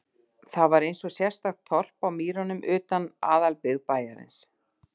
Það var einsog sérstakt þorp á mýrunum utan við aðalbyggð bæjarins.